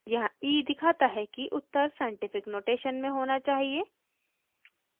यहाँ e दिखाता है कि उत्तर साइंटिफिक नोटेशन में होना चाहिए